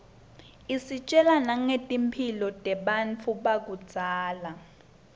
isitjela nangetimphilo tebantfu bakudzala